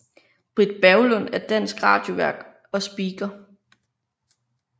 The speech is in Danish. Britt Berglund er dansk radiovært og speaker